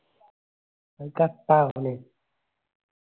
അത് cut ആവല്ലേ